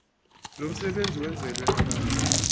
lomsebenzi wenzelwe abantu